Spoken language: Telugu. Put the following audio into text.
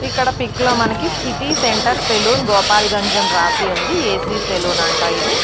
ఇక్కడ పిక్ లో మనకి సిటీ సెంటర్ సెలూన్ గోపాల్గంజ్ అనీ రాసి ఉంది .ఏ_సి సెలూన్ అంట ఇది.